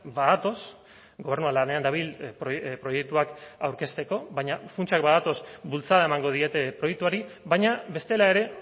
badatoz gobernua lanean dabil proiektuak aurkezteko baina funtsak badatoz bultzada emango diete proiektuari baina bestela ere